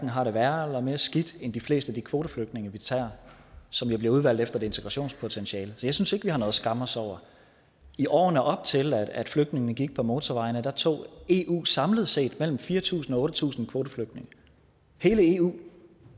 har det værre eller mere skidt end de fleste af de kvoteflygtninge vi tager som jo bliver udvalgt efter et integrationspotentiale så jeg synes ikke vi har noget at skamme os over i årene op til at flygtningene gik på motorvejene tog eu samlet set mellem fire tusind og otte tusind kvoteflygtninge hele eu